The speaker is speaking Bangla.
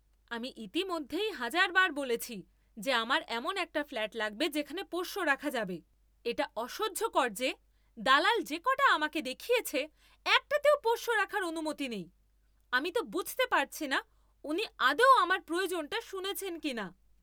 আমি ইতিমধ্যেই হাজারবার বলেছি যে আমার এমন একটা ফ্ল্যাট লাগবে যেখানে পোষ্য রাখা যাবে। এটা অসহ্যকর যে দালাল যে কটা আমাকে দেখিয়েছে একটাতেও পোষ্য রাখার অনুমতি নেই। আমি তো বুঝতে পারছি না উনি আদৌ আমার প্রয়োজনটা শুনেছেন কিনা!